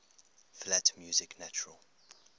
flat music natural